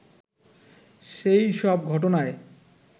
সেই সব ঘটনায়